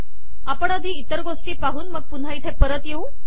आपण आधी इतर गोष्टी पाहून मग पुन्हा इथे परत येऊ